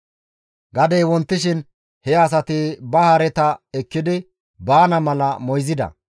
Gadey wontishin he asati ba hareta ekkidi baana mala moyzida.